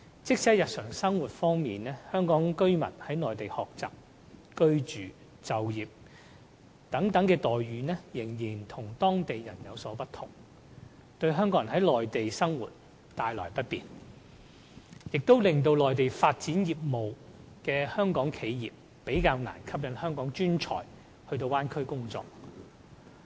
即使在日常生活方面，香港居民在內地學習、居住、就業等方面的待遇，仍與當地人有所不同，對在內地生活的港人構成不便，亦令在內地發展業務的香港企業較難吸引香港專才到大灣區工作。